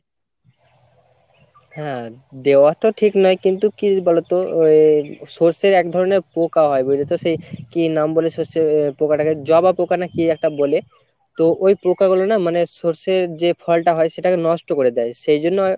হ্যাঁ দেওয়া তো ঠিক না কিন্তু কি বলোতো আহ সর্ষের এক ধরণের পোঁকা হয় বুঝেছো কি নাম বলেছে সে আহ পোকাটাকে জবা পোঁকা না কি একটা বলে তো ওই পোকাগুলি না মানে সর্ষের যে ফলটা হয় সেটাকে নষ্ট করে দেয় , সেইজন্য